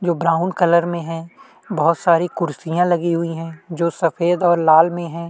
जो brown colour में है वह उसमें बहोत सारे क्वेश्चन रखी हुई है लाल और सफेद है।